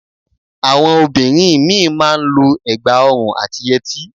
Àwọn obìnrin mí ì má a n lo ẹ̀gbà ọrùn àti yẹtí